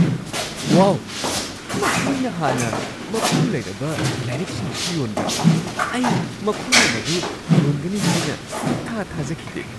ꯋꯥꯎ! ꯃꯈꯣꯏꯅ ꯍꯥꯟꯅ ꯃꯄꯨ ꯂꯩꯔꯕ ꯂꯥꯏꯔꯤꯛꯁꯤꯡꯁꯨ ꯌꯣꯟꯕ꯭ꯔꯥ? ꯑꯩ ꯃꯈꯣꯏꯅ ꯃꯗꯨ ꯌꯣꯟꯒꯅꯤ ꯍꯥꯏꯅ ꯁꯨꯛꯊꯥ ꯊꯥꯖꯈꯤꯗꯦ ꯫